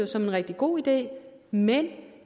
som en rigtig god idé men